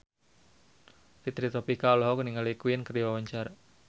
Fitri Tropika olohok ningali Queen keur diwawancara